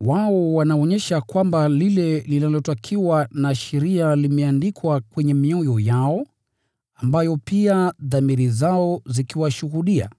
Wao wanaonyesha kwamba lile linalotakiwa na sheria limeandikwa kwenye mioyo yao, ambayo pia dhamiri zao zikiwashuhudia,